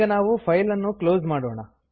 ಈಗ ನಾವು ಫೈಲ್ ಅನ್ನು ಕ್ಲೋಸ್ ಮಾಡೋಣ